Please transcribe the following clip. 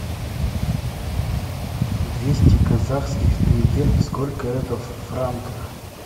двести казахских тенге сколько это в франках